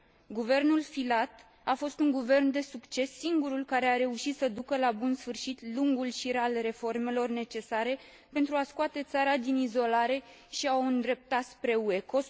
Guvernul Filat a fost un guvern de succes, singurul care a reușit să ducă la bun sfârșit lungul șir al reformelor necesare pentru a scoate țara din izolare și a o îndrepta spre UE.